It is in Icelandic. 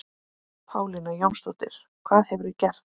Pálína Jónsdóttir, hvað hefurðu gert?